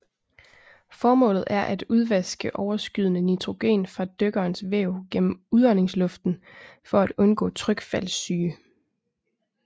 Formålet er at udvaske overskydende nitrogen fra dykkerens væv gennem udåndingsluften for at undgå trykfaldssyge